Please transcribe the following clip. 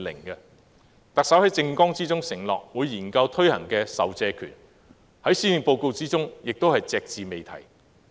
特首在政綱中承諾會研究推行的授借權，在施政報告內也是隻字未提。